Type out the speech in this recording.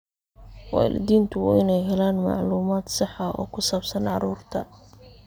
Waalidiintu waa inay helaan macluumaad sax ah oo ku saabsan carruurta.